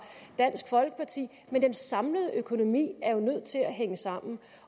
dansk folkeparti men den samlede økonomi er jo nødt til at hænge sammen